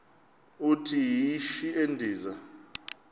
uthi yishi endiza